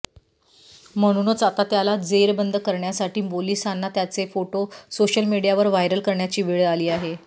म्हणूनच आता त्याला जेरबंद करण्यासाठी पोलिसांना त्याचे फोटो सोशल मीडियावर व्हायरल करण्याची वेळ आली आहे